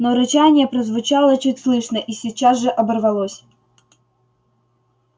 но рычание прозвучало чуть слышно и сейчас же оборвалось